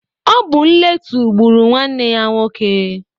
Ọ bụ nletu gbụrụ nwanne ya nwoke.